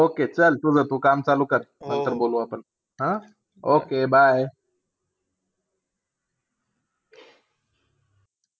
Okay! चाल, तुझा तू काम चालू कर. नंतर बोलू आपण. हा okay, bye!